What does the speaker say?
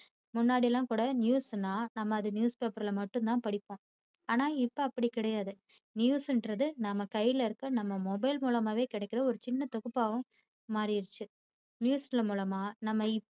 முன்னாடியெல்லாம் கூட news னா நாம அத news paper ல மட்டும் தான் படிப்போம். ஆனா இப்போ அப்படி கிடையாது news ங்கிறது நாம கையில இருக்கிற நாம mobile மூலமா கிடைக்கிற ஒரு சின்ன தொகுப்பாகவும் மாறிடுச்சு. news மூலமா நம்ம